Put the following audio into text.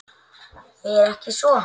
Er ekki svo?